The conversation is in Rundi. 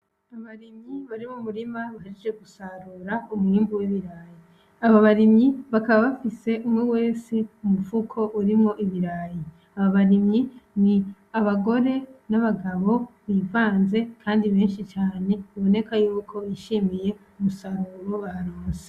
Abarimyi bari m'umurima bahejeje gusarura umwimbu w'ibirayi, abo barimyi bakaba bafise umwe wese umufuko urimwo ibirayi, abarimyi n'abagore, n'abagabo bivanze Kandi benshi cane biboneka ko bishimiye umusaruro baronke.